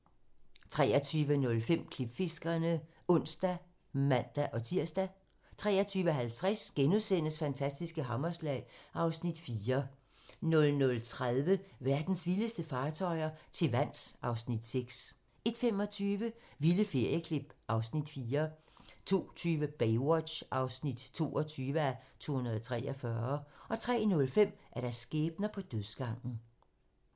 23:05: Klipfiskerne (ons og man-tir) 23:50: Fantastiske hammerslag (Afs. 4)* 00:30: Verdens vildeste fartøjer - til vands (Afs. 6) 01:25: Vilde ferieklip (Afs. 4) 02:20: Baywatch (22:243) 03:05: Skæbner på dødsgangen